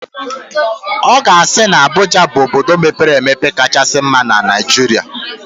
Ọ ga-asị na Abuja bụ obodo mepere emepe kachasị mma na Naijiria.